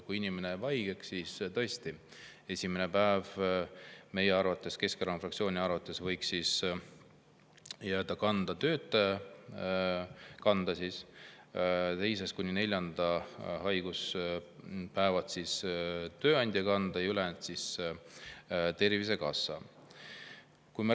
Kui inimene jääb haigeks, siis tõesti, esimene päev võiks meie, Keskerakonna fraktsiooni arvates jääda töötaja kanda, teisest kuni neljanda haiguspäevani võiks jääda tööandja kanda ja ülejäänud Tervisekassa.